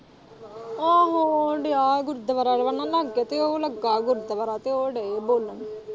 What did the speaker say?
ਆਹੋ ਅੜੀਆ ਗੁਰਦੁਆਰਾ ਇਹ ਨਾ ਜਿਹੜਾ ਲਾਂਗੇ ਤੇ ਉਹ ਲੱਗਾ ਗੁਰਦੁਆਰਾ ਤੇ ਉਹ ਦਏ ਬੋਲਣ।